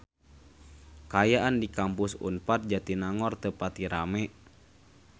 Kaayaan di Kampus Unpad Jatinangor teu pati rame